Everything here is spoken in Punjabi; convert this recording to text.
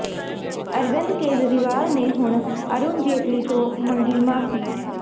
ਅਰਵਿੰਦ ਕੇਜਰੀਵਾਲ ਨੇ ਹੁਣ ਅਰੁਣ ਜੇਤਲੀ ਤੋਂ ਮੰਗ ਮਾਫੀ